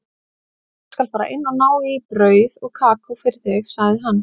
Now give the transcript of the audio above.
Ég skal fara inn og ná í brauð og kakó fyrir þig, sagði hann.